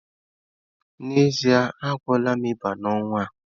N'ezie, a gwọọla m ịba n'ọnwa a.